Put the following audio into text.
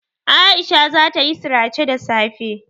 Aisha zata yi sirace da safe.